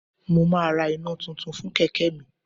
Mo máa ra iná tuntun fún kẹ̀kẹ́ mi